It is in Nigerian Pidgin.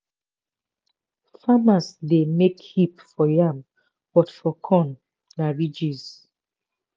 farmers dey make hip for yam but for corn na ridges.